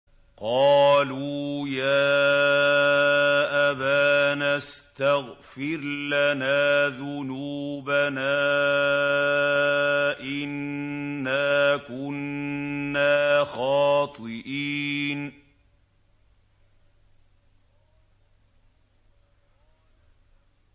قَالُوا يَا أَبَانَا اسْتَغْفِرْ لَنَا ذُنُوبَنَا إِنَّا كُنَّا خَاطِئِينَ